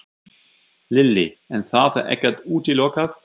Lillý: En það er ekkert útilokað?